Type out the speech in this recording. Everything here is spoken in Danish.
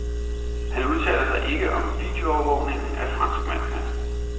Han udtaler sig ikke om videoovervågning af franskmændene.